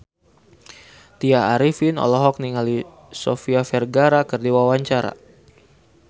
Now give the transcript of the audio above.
Tya Arifin olohok ningali Sofia Vergara keur diwawancara